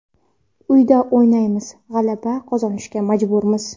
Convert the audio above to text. Uyda o‘ynaymiz va g‘alaba qozonishga majburmiz.